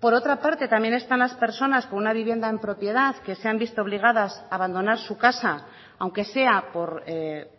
por otra parte también están las personas con una vivienda en propiedad que se han visto obligadas a abandonar su casa aunque sea por